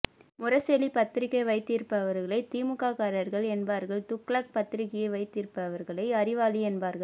முரசொலி பத்திரிக்கை வைத்திருப்பவர்களை திமுககாரர்கள் என்பார்கள் துக்ளக் பத்திரிக்கையை வைத்திருப்பவர்களை அறிவாளி என்பார்கள்